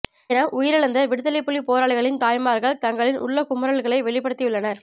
என உயிரிழந்த விடுதலைப்புலி போராளிகளின் தாய்மார்கள் தங்களின் உள்ளக் குமுறல்களை வெளிப்படுத்தியுள்ளனர்